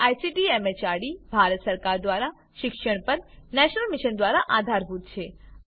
જે ICT MHRD Bharat સરકાર દ્વારા શિક્ષણ પર રાષ્ટ્રીય મીશન મારફતે આધાર અપાયેલ છે